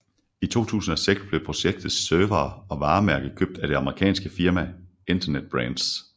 I 2006 blev projektets servere og varemærke købt af det amerikanske firma Internet Brands